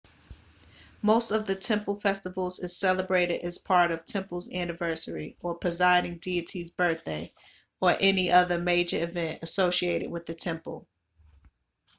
most of the temple festivals is celebrated as part of temple's anniversary or presiding deity's birthday or any other major event associated with the temple